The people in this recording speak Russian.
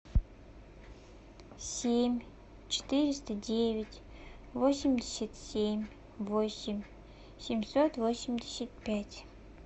семь четыреста девять восемьдесят семь восемь семьсот восемьдесят пять